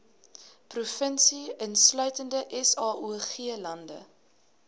provinsie insluitende saoglande